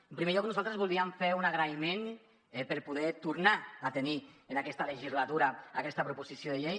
en primer lloc nosaltres voldríem fer un agraïment per poder tornar a tenir en aquesta legislatura aquesta proposició de llei